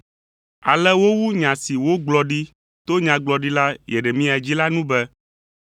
Ale wowu nya si wogblɔ ɖi to Nyagblɔɖila Yeremia dzi la nu be,